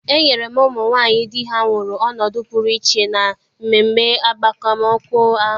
E nyere ụmụ nwaanyị di ha nwụrụ ọnọdụ pụrụ iche na mmemme agbamakwụkwọ ahụ.